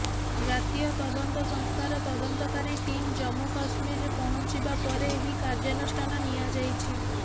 ଜାତୀୟ ତଦନ୍ତ ସଂସ୍ଥାର ତଦନ୍ତକାରୀ ଟିମ୍ ଜମ୍ମୁ କଶ୍ମୀରରେ ପହଂଚିବା ପରେ ଏହି କାର୍ଯ୍ୟାନୁଷ୍ଠାନ ନିଆଯାଇଛି